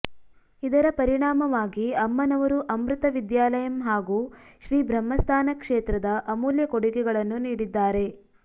ಇದರ ಪರಿಣಾಮವಾಗಿ ಅಮ್ಮನವರು ಅಮೃತ ವಿದ್ಯಾಲಯಂ ಹಾಗೂ ಶ್ರೀ ಬ್ರಹ್ಮಸ್ಥಾನ ಕ್ಷೇತ್ರದ ಅಮೂಲ್ಯ ಕೊಡುಗೆಗಳನ್ನು ನೀಡಿದ್ದಾರೆ